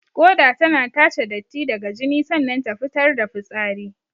Ƙoda tana tace datti daga jini sannan ta fitar da fitsari.